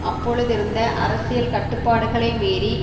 அப்பொழுதிருந்த அரசியல் கட்டுப்பாடுகளை மீறி